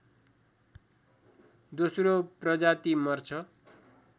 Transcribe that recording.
दोश्रो प्रजाति मर्छ